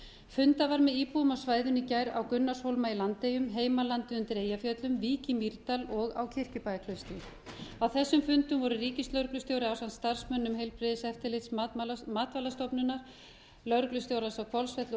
fundað var með íbúum á svæðinu í gær á gunnarshólma í landeyjum heimalandi undir eyjafjöllum vík í mýrdal og á kirkjubæjarklaustri á þessum fundum voru ríkislögreglustjóri ásamt starfsmönnum heilbrigðiseftirlits matvælastofnunar lögreglustjórans á hvolsvelli og